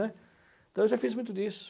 né? Então, eu já fiz muito disso.